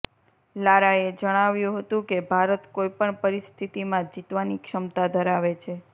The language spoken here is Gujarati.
લારાએ જણાવ્યું હતું કે ભારત કોઈ પણ પરિસ્થિતિમાં જીતવાની ક્ષમતા ધરાવે છે